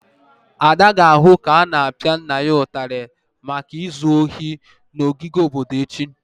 Ada ga-ahụ ka a na-apia nna ya ụtarị maka izu ohi n'ogige obodo echi.